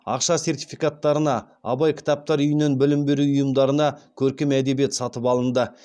ақша сертификаттарына абай кітаптар үйінен білім беру ұйымдарына көркем әдебиет сатып алынды